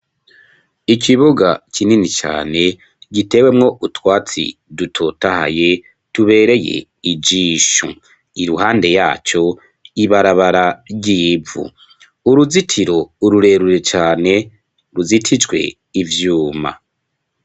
Ikibuga kinini cane gitewemwo utwatsi dutotahaye tubereye ijisho, iruhande yaco ibarabara ry'ivu, uruzitiro rurerure cane ruzitijwe ivyuma.